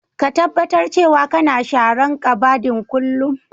Ka taɓatar cewa kana sharan ƙabadin kullum.